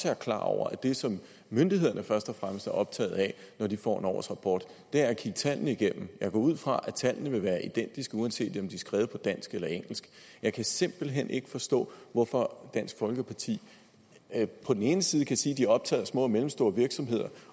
er klar over at det som myndighederne først og fremmest er optaget af når de får en årsrapport er at kigge tallene igennem jeg går ud fra at tallene vil være identiske uanset om de er skrevet på dansk eller engelsk jeg kan simpelt hen ikke forstå hvorfor dansk folkeparti på den ene side kan sige at de er optaget af små og mellemstore virksomheder